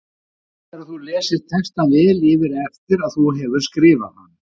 Gott er að þú lesir textann vel yfir eftir að þú hefur skrifað hann.